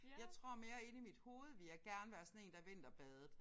Jeg tror mere inde i mit hoved ville jeg gerne være sådan en der vinterbadede